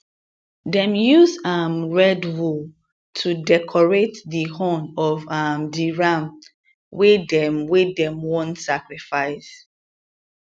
dem use um red wool to decorate di horn of um di ram wey dem wey dem wan sacrifice